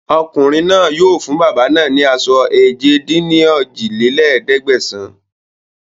Ọmọkùnrin náà yìí o fún bàbá náà ni aṣọ èje-dín-ní-ojì lé ní ẹ̀ẹ́dẹ́gbẹ́sán